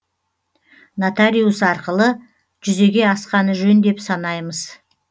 нотариус арқылы арқылы жүзеге асқаны жөн деп санаймыз